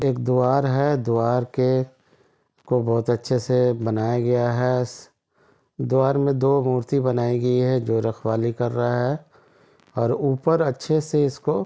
एक द्वार है द्वार के को बहुत अच्छे से बनाया गया है द्वार में दो मूर्ति बनायीं गयी है जो रखवाली कर रहा है और ऊपर अच्छे से इसको --